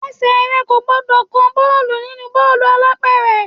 Ẹsẹ̀ rẹ kò gbúdọ̀ kan bọ́ọ̀lù nínú bọ́ọ̀lù alápẹ̀rẹ̀.